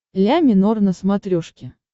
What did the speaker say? ля минор на смотрешке